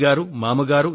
నా తండ్రి మామగారు